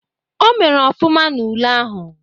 O mere ọfụma n'ule ahụ.